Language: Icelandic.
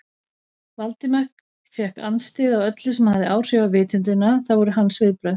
Valdimar fékk andstyggð á öllu sem hafði áhrif á vitundina, það voru hans viðbrögð.